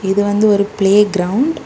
இது வந்து ஒரு பிளேகிரவுண்ட் .